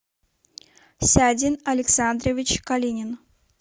сядин александрович калинин